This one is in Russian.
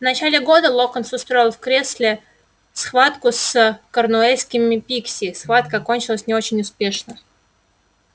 в начале года локонс устроил в кресле схватку с корнуэльскими пикси схватка кончилась не очень успешно